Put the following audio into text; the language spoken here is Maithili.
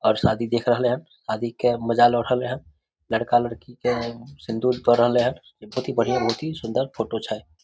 और शादी देख रहले हेन शादी के मजा लो रहले हेन लड़का-लड़की के सिंदूर द रहले हेन इ बहुत ही बढ़ियां बहुत ही सुन्दर फोटो छै।